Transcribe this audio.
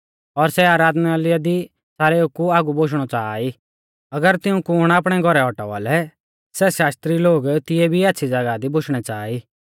और सै आराधनालय दी सारेउ कु आगु बोशणौ च़ाहा ई अगर तिऊं कुण आपणै घौरै औटावा लै सै शास्त्री लोग तिऐ भी आच़्छ़ी ज़ागाह दी बोशणै च़ाहा ई